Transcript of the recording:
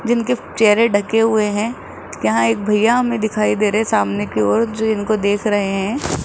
जिनके चेहरे ढके हुए है यहां एक भईया हमें दिखाई दे रहे सामने की ओर जो इनको देख रहे है।